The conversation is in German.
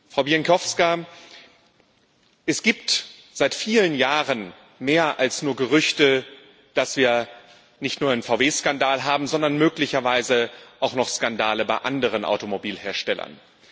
Frau Bieńkowska, es gibt seit vielen Jahren mehr als nur Gerüchte, dass wir nicht nur einen VW Skandal haben, sondern möglicherweise auch noch Skandale bei anderen Automobilherstellern.